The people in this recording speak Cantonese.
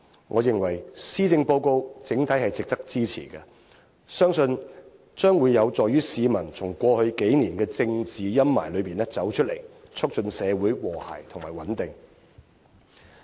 我認為，施政報告整體值得支持，相信將會有助於市民從過去幾年的政治陰霾中走出來，促進社會和諧及穩定。